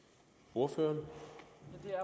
ordføreren